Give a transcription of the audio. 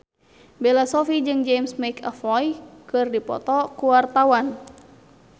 Bella Shofie jeung James McAvoy keur dipoto ku wartawan